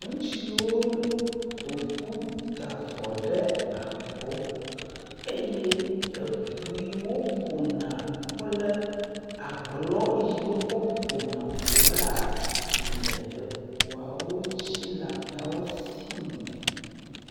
Ŋutsuwo le..ƒoƒu da avɔ ɖe abɔ eye eŋu yiwo ƒona kple agblɔ yiwo wokɔ ƒona ŋua le eŋuawo dzi le ameawo si me.